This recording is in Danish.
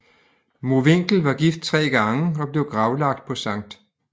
Mowinckel var gift tre gange og blev gravlagt på St